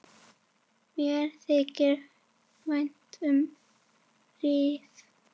Mér þykir vænt um Rif.